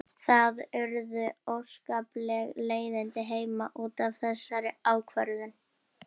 Það urðu óskapleg leiðindi heima út af þessari ákvörðun.